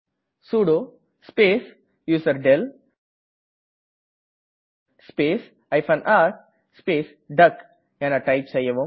sudo space userdel space r space டக் என type செய்யவும்